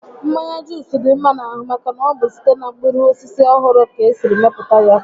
Mmanya Juus dị mma n'ahụ maka na ọ bụ site na mkpụrụ osisi ọhụrụ ka esi mepụta ya